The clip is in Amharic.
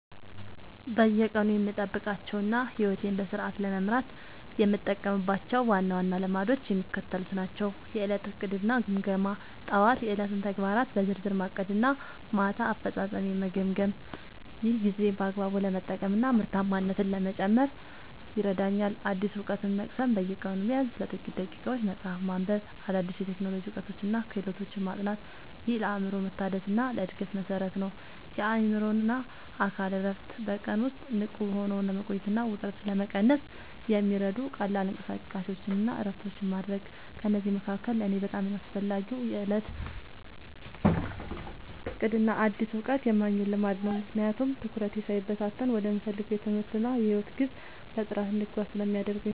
በየቀኑ የምጠብቃቸውና ሕይወቴን በስርዓት ለመምራት የምጠቀምባቸው ዋና ዋና ልማዶች የሚከተሉት ናቸው፦ የዕለት ዕቅድና ግምገማ፦ ጠዋት የዕለቱን ተግባራት በዝርዝር ማቀድና ማታ አፈጻጸሜን መገምገም። ይህ ጊዜን በአግባቡ ለመጠቀምና ምርታማነትን ለመጨመር ይረዳኛል። አዲስ እውቀት መቅሰም፦ በየቀኑ ቢያንስ ለጥቂት ደቂቃዎች መጽሐፍ ማንበብ፣ አዳዲስ የቴክኖሎጂ እውቀቶችንና ክህሎቶችን ማጥናት። ይህ ለአእምሮ መታደስና ለዕድገት መሠረት ነው። የአእምሮና አካል እረፍት፦ በቀን ውስጥ ንቁ ሆኖ ለመቆየትና ውጥረትን ለመቀነስ የሚረዱ ቀላል እንቅስቃሴዎችንና እረፍቶችን ማድረግ። ከእነዚህ መካከል ለእኔ በጣም አስፈላጊው የዕለት ዕቅድና አዲስ እውቀት የማግኘት ልማድ ነው፤ ምክንያቱም ትኩረቴ ሳይበታተን ወደምፈልገው የትምህርትና የሕይወት ግብ በጥራት እንድጓዝ ስለሚያደርጉኝ።